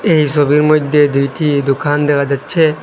এই ছবির মইধ্যে দুইটি দোকান দেখা যাচ্ছে।